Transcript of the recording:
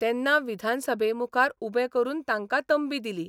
तेन्ना विधानसभेमुखार उबे करून तांकां तंबी दिली.